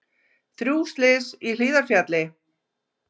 Þrjú slys í Hlíðarfjalli